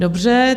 Dobře.